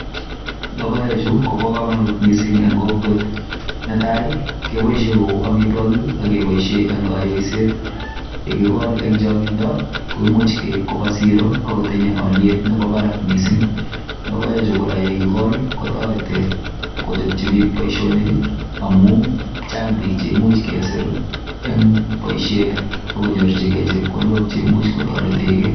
Logoek Chu Koba kamanut mising en kokwet netai kebaishen Kou amitwagik ak kebaishen en kaiyoiset yekikol en changindobkomuchbkeib Koba siro akotinye aliet Nebo Barak mising ayekikol kochapchi bik Baishonik amun Chang Bik cheimuch kesir en baishet akonyor chepkondok cheimuche kotaretegei